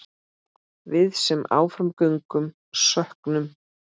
Við sem áfram göngum söknum.